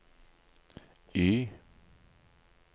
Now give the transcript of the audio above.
Y